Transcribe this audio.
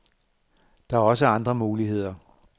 Der er også andre muligheder.